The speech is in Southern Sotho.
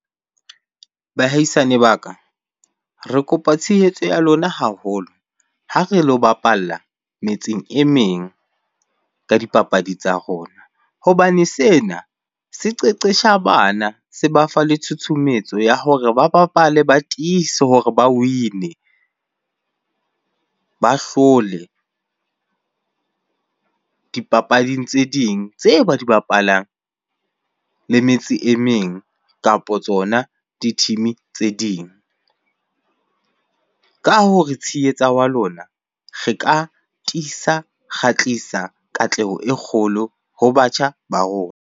Baahisane ba ka, re kopa tshehetso ya lona haholo ha re lo bapalla metseng e meng ka dipapadi tsa rona. Hobane sena se qeqesha bana, se ba fa le tshutshumetso ya hore ba bapale ba tiise hore ba win-e. Ba hlole dipapading tse ding tse ba di bapalang le metse e meng kapo tsona di-team-e tse ding. Ka ho re tshehetsa wa lona re ka tiisa, ra tlisa katleho e kgolo ho batjha ba rona.